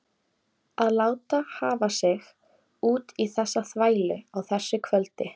Að láta hafa sig út í þessa þvælu á þessu kvöldi.